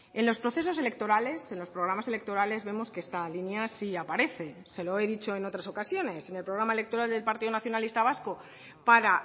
en los procesos electorales en los programas electorales vemos que esta línea sí aparece se lo he dicho en otras ocasiones en el programa electoral del partido nacionalista vasco para